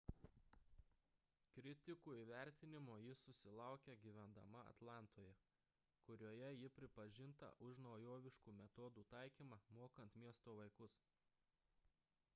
kritikų įvertinimo ji susilaukė gyvendama atlantoje kurioje ji pripažinta už naujoviškų metodų taikymą mokant miesto vaikus